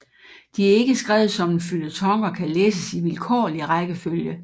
De er ikke skrevet som en føljeton og kan læses i vilkårlig rækkefølge